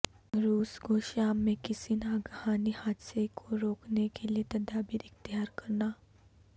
روس کو شام میں کسی ناگہانی حادثے کو روکنے کےلیےتدابیراختیارکرناہ